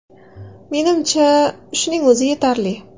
Menimcha, shuning o‘zi yetarli.